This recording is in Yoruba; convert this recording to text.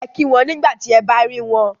Ẹ kí wọn nígbà tí ẹ bá rí wọn